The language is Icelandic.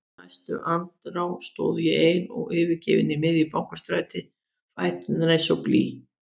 Í næstu andrá stóð ég ein og yfirgefin í miðju Bankastræti, fæturnir eins og blý.